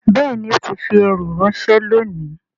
Bẹ́ẹ̀ni ó ti fi ẹrù ránṣẹ́ lónìí